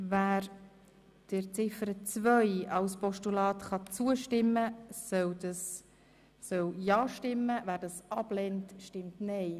Wer Ziffer 2 als Postulat zustimmen kann, soll ja stimmen, wer diese ablehnt, stimmt nein.